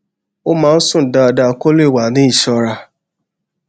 ó máa ń sùn dáadáa kó lè wà ní ìṣọra